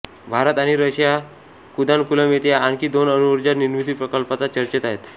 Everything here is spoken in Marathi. भारत आणि रशिया कुदानकुलम येथे आणखी दोन अणुऊर्जा निर्मिती प्रकल्पांच्या चर्चेत आहेत